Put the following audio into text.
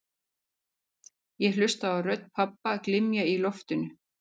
Ég hlusta á rödd pabba glymja í loftinu